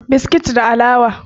biskit da alawa